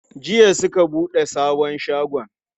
Jiya suka buɗe sabon shagon.